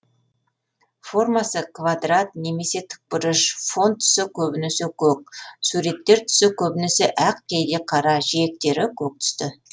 формасы квадрат немесе тікбұрыш фон түсі көбінесе көк суреттер түсі көбінесе ақ кейде қара жиектері көк түсті